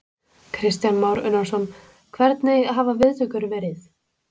Kristján Már Unnarsson: Hvernig hafa viðtökur verið?